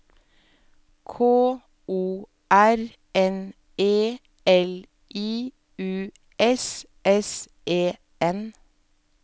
K O R N E L I U S S E N